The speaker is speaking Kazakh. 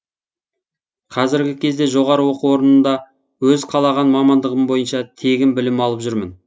қазіргі кезде жоғары оқу орнында өз қалаған мамандығым бойынша тегін білім алып жүрмін